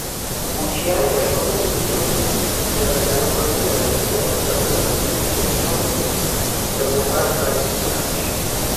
Buch yaalo, ma bende biro dhii nyaka ndalo aang'wen ne ochakore gokinyi mar wuok tich eboma mar Christchurch.